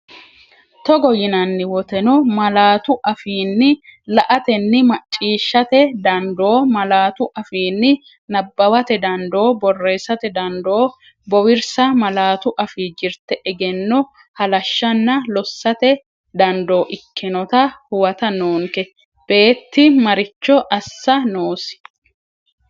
Togo yinanni woteno, malaatu afiinni la’atenni macciishshate dandoo, malaatu afiinni nabbawate dandoo, borreessate dandoo bowirsa malaatu afii jirte egenno halashshanna lossate dandoo ikkinota huwata noonke, beetti maricho assa noosi?